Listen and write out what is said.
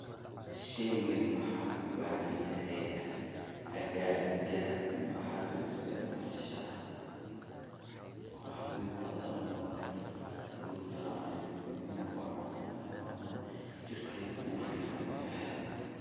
Shaygani ma ku badan yahay aaggaaga maxaad u isticmaashaa waxawa wa lucuna frutka lacuna miid kamid eh wa canabah ona jirkad uficiinyih.